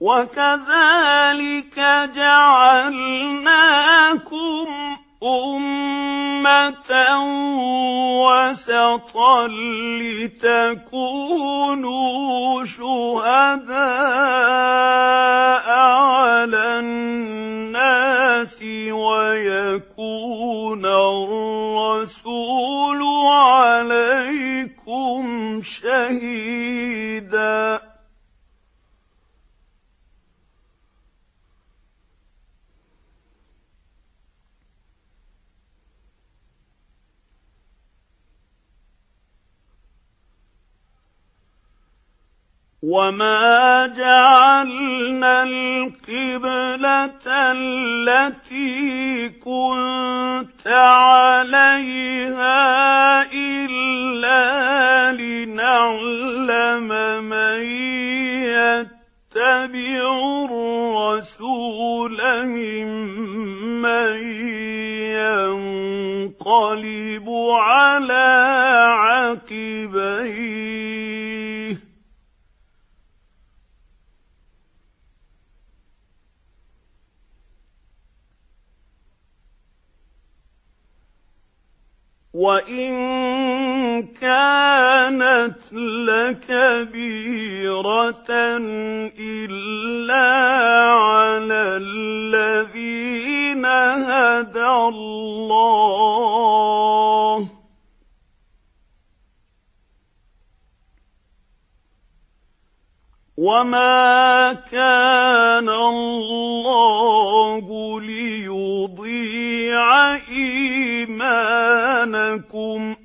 وَكَذَٰلِكَ جَعَلْنَاكُمْ أُمَّةً وَسَطًا لِّتَكُونُوا شُهَدَاءَ عَلَى النَّاسِ وَيَكُونَ الرَّسُولُ عَلَيْكُمْ شَهِيدًا ۗ وَمَا جَعَلْنَا الْقِبْلَةَ الَّتِي كُنتَ عَلَيْهَا إِلَّا لِنَعْلَمَ مَن يَتَّبِعُ الرَّسُولَ مِمَّن يَنقَلِبُ عَلَىٰ عَقِبَيْهِ ۚ وَإِن كَانَتْ لَكَبِيرَةً إِلَّا عَلَى الَّذِينَ هَدَى اللَّهُ ۗ وَمَا كَانَ اللَّهُ لِيُضِيعَ إِيمَانَكُمْ ۚ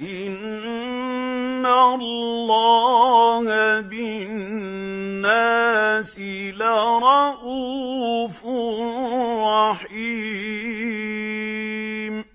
إِنَّ اللَّهَ بِالنَّاسِ لَرَءُوفٌ رَّحِيمٌ